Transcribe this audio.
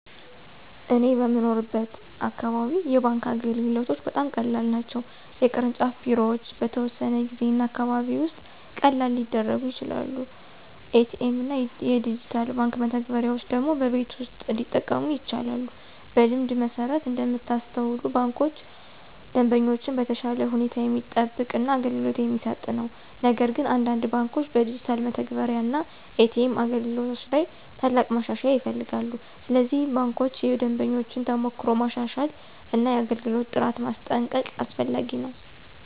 በእኔ የምኖርበት አካባቢ የባንክ አገልግሎቶች በጣም ቀላል ናቸው። የቅርንጫፍ ቢሮዎች በተወሰነ ጊዜ እና አካባቢ ውስጥ ቀላል ሊደርሱ ይችላሉ። ኤ.ቲ.ኤም እና ዲጂታል የባንክ መተግበሪያዎች ደግሞ በቤት ውስጥ እንዲጠቀሙ ይቻላሉ። በልምድ መሠረት እንደምታስተውሉ ባንኩ ደንበኞችን በተሻለ ሁኔታ የሚጠብቅ እና አገልግሎት የሚሰጥ ነው። ነገር ግን አንዳንድ ባንኮች በዲጂታል መተግበሪያ እና ኤ.ቲ.ኤም አገልግሎት ላይ ትልቅ ማሻሻያ ይፈልጋሉ። ስለዚህ ባንኮች የደንበኞችን ተሞክሮ ማሻሻል እና የአገልግሎት ጥራት ማስጠንቀቅ አስፈላጊ ነው።